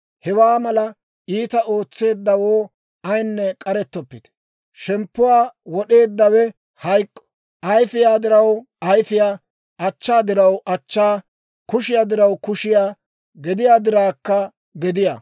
Hewaa mala iitaa ootseeddawoo ayinne k'arettoppite; shemppuwaa wod'eeddawe hayk'k'o; ayfiyaa diraw ayfiyaa; achchaa diraw achchaa; kushiyaa diraw kushiyaa; gediyaa dirawkka gediyaa.